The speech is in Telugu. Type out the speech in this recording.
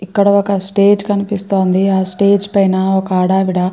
ఇక్కడ ఒక స్టేజ్ కనిపిస్తోంది. ఆ స్టేజ్ పైన ఒక ఆడవిడా --